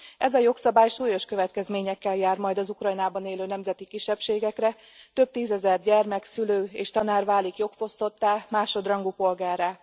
Ez a jogszabály súlyos következményekkel jár majd az Ukrajnában élő nemzeti kisebbségekre, több tízezer gyermek, szülő és tanár válik jogfosztottá, másodrangú polgárrá.